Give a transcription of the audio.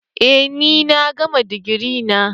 Eh ni na gama digiri na.